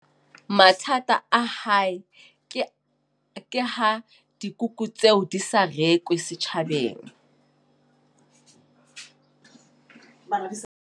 Mathata a hae, ke ke ha dikuku tseo di sa rekwe setjhabeng.